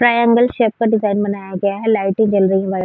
Triangle shape में design बनाया गया है लाइट जल रही है।